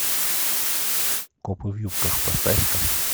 копы в юбках поставь ка